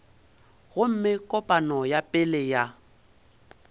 gomme kopano ya pele ya